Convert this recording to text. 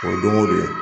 O ye don go don